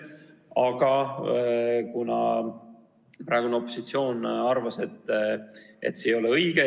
Aga praegune opositsioon arvas, et see ei ole õige.